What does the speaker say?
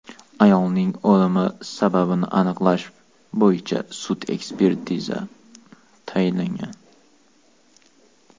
Ayolning o‘limi sababini aniqlash bo‘yicha sud-tibbiy ekspertizasi tayinlangan.